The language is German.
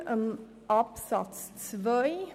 Betreffend Absatz 2: